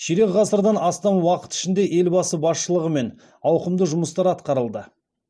ширек ғасырдан астам уақыт ішінде елбасы басшылығымен ауқымды жұмыстар атқарылды